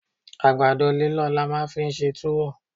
Àgbàdo líllọ̀ ni a máa fi ń ṣe túwó